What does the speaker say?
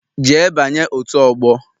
Jee banye otu ọgbọ!